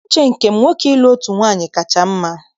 N'uche nke m, nwoke ịlụ otu nwaanyị kacha mma